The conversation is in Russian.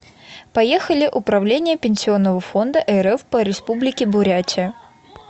поехали управление пенсионного фонда рф по республике бурятия